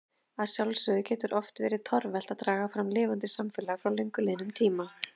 Að sjálfsögðu getur oft verið torvelt að draga fram lifandi samfélag frá löngu liðnum tíma.